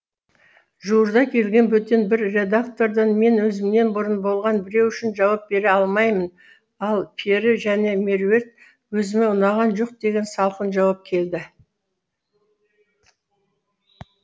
жуырда келген бөтен бір редактордан мен өзімнен бұрын болған біреу үшін жауап бере алмаймын ал пері және меруерт өзіме ұнаған жоқ деген салқын жауап келді